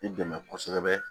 I dɛmɛ kosɛbɛ